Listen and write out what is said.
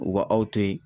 U ka aw to yen